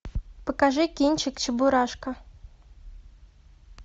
покажи кинчик чебурашка